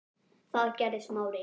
Það gerði Smári.